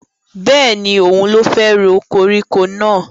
Bẹ́ẹ̀ni, òun ló fẹ́ ro koríko náà